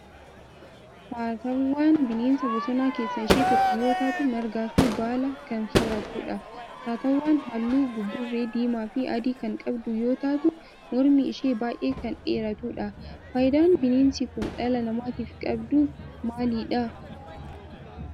Saatawwaan bineensa bosonaa keessaa ishee tokko yoo taatu margaa fi baala kan soorattudha. Saatawwaan halluu buburree diimaa fi adii kan qabdu yoo taatu mormi ishee baay'ee kan dheeratudha. Faayidaan bineensi kun dhala namaatiif qabdu maalidha?